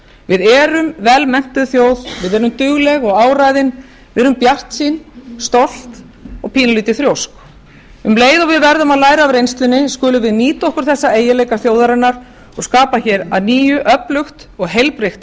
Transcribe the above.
við erum vel menntuð þjóð við erum dugleg og áræðin við erum bjartsýn stolt og pínulítið þrjósk um leið og við verðum að læra af reynslunni málum við nýta okkur þessa eiginleika þjóðarinnar og skapa hér að nýju öflugt og heilbrigt